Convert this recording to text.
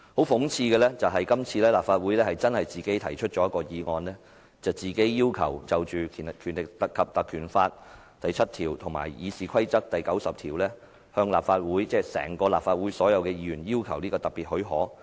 諷刺的是，今次是由立法會自己提出議案，自行要求"根據《立法會條例》第7條及《議事規則》第90條請求立法會"——即立法會全體議員——"給予特別許可"。